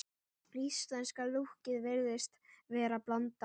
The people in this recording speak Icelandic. Íslenska lúkkið virðist vera blanda af